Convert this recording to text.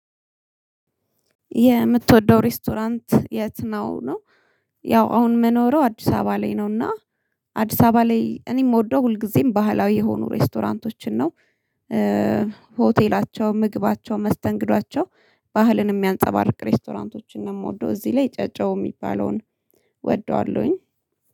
የምትወደው ሬስቶራንት የት ነው ነው? ያው አሁን የምኖረው አዲስ አበባ ላይ ነውና አዲስ አበባ ላይ እኔም የምወደው ሁልጊዜም ባህላዊ የሆኑ ሬስቶራንቶችን ነው። ሆቴላቸው ምግባቸው መስተንግዷቸው ባህልን የሚያንፀባርቅ ሬስቶራንቶችን ነው የምወደው እዚህ ላይ ጨጨሆ የሚባለውን ወደዋለሁኝ